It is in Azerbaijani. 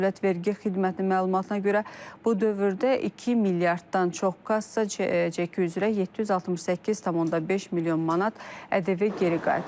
Dövlət Vergi Xidmətinin məlumatına görə, bu dövrdə 2 milyarddan çox kassa çeki üzrə 768,5 milyon manat ƏDV geri qaytarılıb.